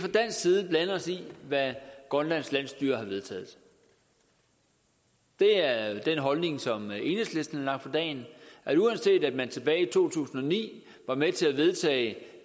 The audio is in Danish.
blande os i hvad grønlands landsstyre har vedtaget det er den holdning som enhedslisten har lagt for dagen at uanset at man tilbage i to tusind og ni var med til at vedtage